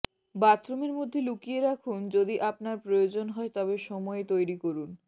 বাথরুমের মধ্যে লুকিয়ে রাখুন যদি আপনার প্রয়োজন হয় তবে সময় তৈরি করুন